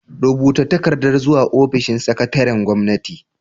Rubuta takarda zuwa ofishin sakataren gwamnati.